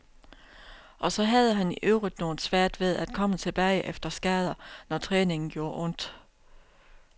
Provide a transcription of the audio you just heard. Og så han havde i øvrigt noget svært ved at komme tilbage efter skader, når træningen gjorde ondt.